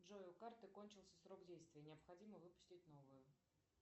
джой у карты кончился срок действия необходимо выпустить новую